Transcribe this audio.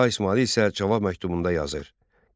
Şah İsmayıl isə cavab məktubunda yazır: